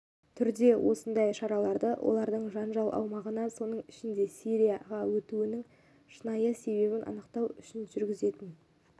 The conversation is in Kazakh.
түрде осындай шараларды олардың жанжал аумағына соның ішінде сирияға өтуінің шынайы себебін анықтау үшін жүргізетін